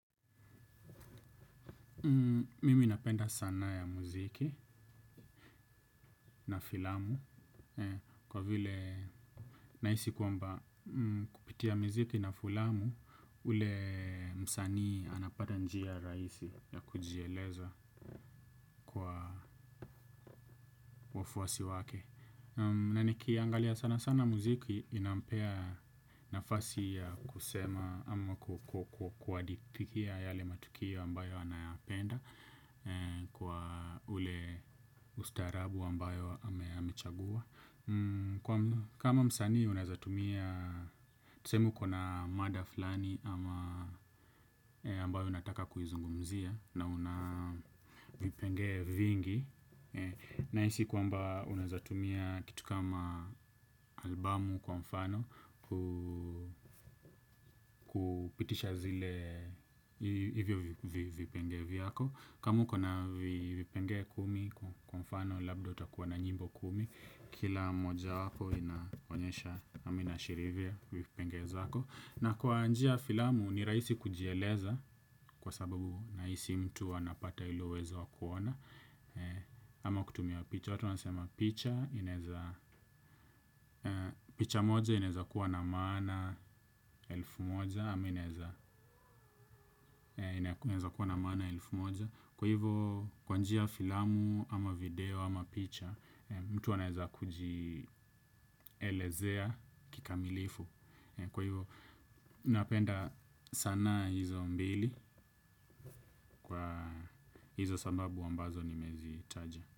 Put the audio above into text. Mimi napenda sanaa ya muziki na filamu kwa vile nahisi kwamba kupitia miziki na filamu ule msanii anapata njia rahisi ya kujieleza. Wafuasi wake na nikiangalia sana sana muziki inampea nafasi ya kusema ama kuhadithia yale matukio ambayo anayapenda kwa ule ustarabu ambayo amechagua. Kama msanii unawezatumia tuseme uko na mada fulani ambayo unataka kuizungumzia na una vipengele vingi. Nahisi kwamba unawezatumia kitu kama albamu kwa mfano kupitisha hivyo vipengele vyako. Kamu uko na vipengele kumi kwa mfano labda utakuwa na nyimbo kumi. Kila mojawapo inaonyesha ama inaashiria vipengele zako, na kwa njia ya filamu ni rahisi kujieleza kwa sababu nahisi mtu anapata ule uwezo wakuona. Ama kutumia picha, watu wanasema picha. Picha moja inawezakuwa na maama elfu moja. Ama inawezakuwa na maana elfu moja. Kwa hivo kwa njia ya filamu ama video ama picha, mtu anaweza kujielezea kikamilifu. Kwa hivo napenda sanaa hizo mbili kwa hizo sababu ambazo nimezitaja.